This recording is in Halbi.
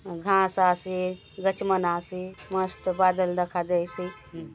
घास आसे गच मन आसे मस्त बादला दखा देयसे।